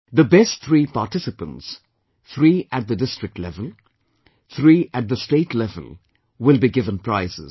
The best three participants three at the district level, three at the state level will be given prizes